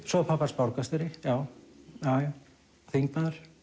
svo var pabbi hans borgarstjóri já þingmaður